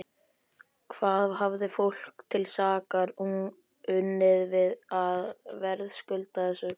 Hvað hafði fólk til sakar unnið að verðskulda þessa plágu?